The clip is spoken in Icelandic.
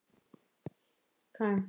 Án þess að fella tár.